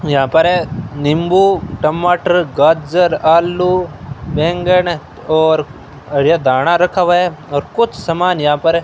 यहां पर नींबू टमाटर गाजर आलू बैंगन और हरियर धाना रखा हुआ है और कुछ समान यहां पर --